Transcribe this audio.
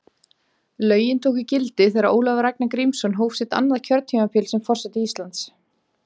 Lögin tóku gildi þegar Ólafur Ragnar Grímsson hóf sitt annað kjörtímabil sem forseti Íslands.